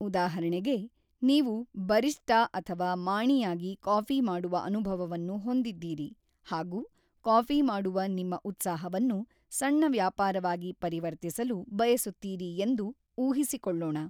ಉದಾಹರಣೆಗೆ, ನೀವು ಬರಿಸ್ಟಾ ಅಥವಾ ಮಾಣಿಯಾಗಿ ಕಾಫಿ ಮಾಡುವ ಅನುಭವವನ್ನು ಹೊಂದಿದ್ದೀರಿ ಹಾಗು ಕಾಫಿ ಮಾಡುವ ನಿಮ್ಮ ಉತ್ಸಾಹವನ್ನು ಸಣ್ಣ ವ್ಯಾಪಾರವಾಗಿ ಪರಿವರ್ತಿಸಲು ಬಯಸುತ್ತೀರಿ ಎಂದು ಊಹಿಸಿಕೊಳ್ಳೋಣ.